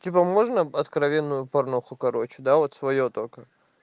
типа можно откровенную порнуху короче да вот своё только